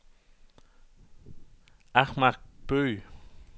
Ahmad Bøgh